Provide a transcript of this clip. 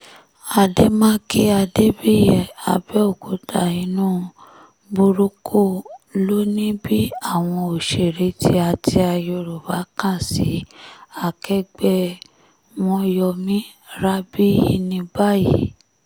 àdèmàkè adébíyì àbẹ̀òkúta inú burúkú ló ń bí àwọn òṣèré tìáta yorùbá kan sí akẹgbẹ́ wọn yo mi rabiyini báyìí